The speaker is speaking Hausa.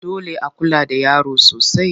Dole a kula da yaro sosai.